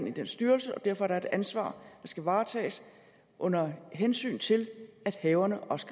i den styrelse og derfor er der et ansvar der skal varetages under hensyn til at haverne også